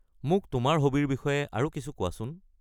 মোক তোমাৰ হবিৰ বিষয়ে আৰু কিছু কোৱাচোন।